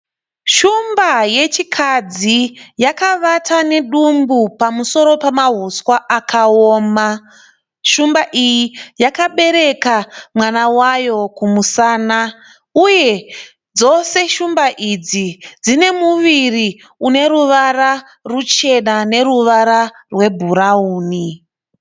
Shumba yechikadzi yakavata nedumbu pamusoro pamahuswa akaoma, shumba iyi yakabereka mwana wayo kumusana, uye dzose shumba idzi dzine muviri une ruvara ruchena neruvara rebhurauni.